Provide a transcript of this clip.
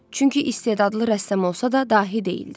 Çünki istedadlı rəssam olsa da, dahi deyildi.